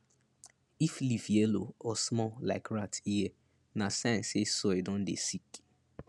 if leaf yellow or small like rat ear na sign say soil don dey sick